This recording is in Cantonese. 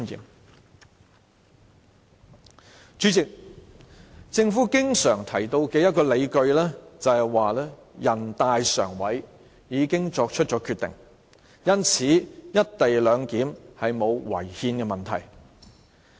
代理主席，政府經常提到的理據是，全國人民代表大會常務委員會已經作出決定，因此"一地兩檢"沒有違憲的問題。